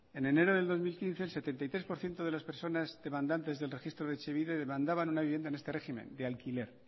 en enero de dos mil quince el setenta y tres por ciento de las personas demandantes del registro de etxebide demandaban una vivienda en este régimen de alquiler